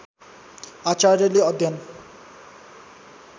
आचार्यले अध्‍ययन